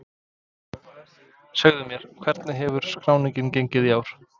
Segðu mér, hvernig hefur skráningin gengið í ár?